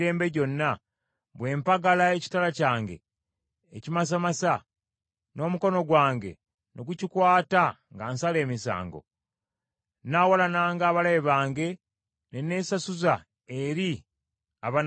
bwe mpagala ekitala kyange ekimasamasa, n’omukono gwange ne gukikwata nga nsala emisango, nnaawalananga abalabe bange, ne neesasuzanga eri abanaankyawanga.